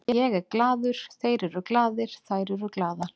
Ég er glaður, þeir eru glaðir, þær eru glaðar.